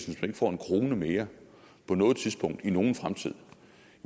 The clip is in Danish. får en krone mere på noget tidspunkt i nogen fremtid